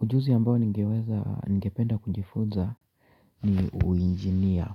Ujuzi ambao nigeweza, ningependa kujifunza ni uinjinia.